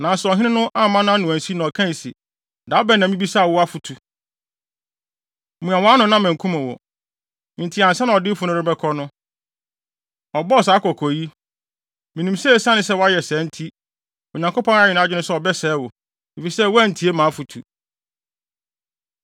Nanso ɔhene no amma nʼano ansi, na ɔkae se, “Da bɛn na mibisaa wo afotu? Mua wʼano na mankum wo!” Enti ansa na odiyifo no rebɛkɔ no, ɔbɔɔ saa kɔkɔ yi, “Minim sɛ esiane sɛ woayɛ saa nti, Onyankopɔn ayɛ nʼadwene sɛ ɔbɛsɛe wo, efisɛ woantie mʼafotu.”